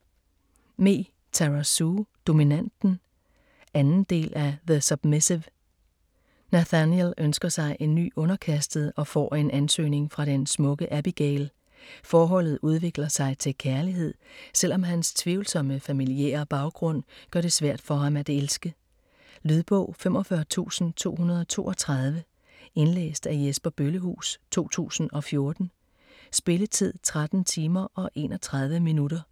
Me, Tara Sue: Dominanten 2. del af The submissive. Nathaniel ønsker sig en ny underkastet, og får en ansøgning fra den smukke Abigail. Forholdet udvikler sig til kærlighed, selvom hans tvivlsomme familiære baggrund gør det svært for ham at elske. Lydbog 45232 Indlæst af Jesper Bøllehuus, 2014. Spilletid: 13 timer, 31 minutter.